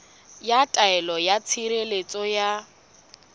ya taelo ya tshireletso ya